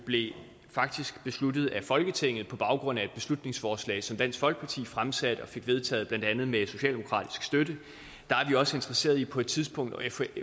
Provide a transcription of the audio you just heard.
faktisk blev besluttet af folketinget på baggrund af et beslutningsforslag som dansk folkeparti fremsatte og fik vedtaget blandt andet med socialdemokratisk støtte der er vi også interesseret i på et tidspunkt at